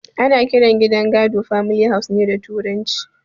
Ana kiran gidan gado da famili haus ne a turance